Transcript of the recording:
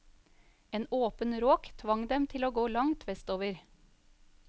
En åpen råk tvang dem til å gå langt vestover.